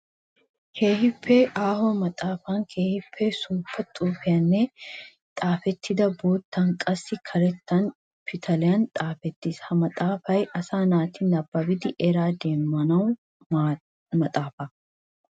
Keehippe aaho maxafay keehippe suufa xuufiyan xaafettidi boottanne qassi karetta pitaliyan xaafettiis. Ha maxafay asay naati nababbidi eraa demmiyo maxaafa.